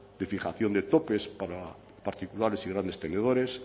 de fijación de topes para particulares y grandes tenedores